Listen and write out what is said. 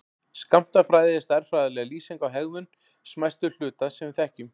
Skammtafræði er stærðfræðileg lýsing á hegðun smæstu hluta sem við þekkjum.